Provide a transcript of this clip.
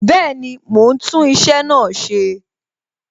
Bẹẹni, mo ń tún iṣẹ́ náà ṣe